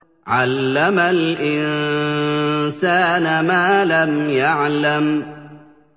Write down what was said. عَلَّمَ الْإِنسَانَ مَا لَمْ يَعْلَمْ